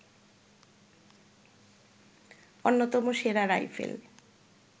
অন্যতম সেরা রাইফেল